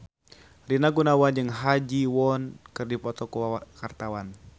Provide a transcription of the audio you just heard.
Rina Gunawan jeung Ha Ji Won keur dipoto ku wartawan